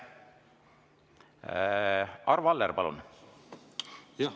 Arvo Aller, palun!